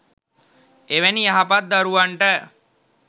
එවැනි යහපත් දරුවන්ට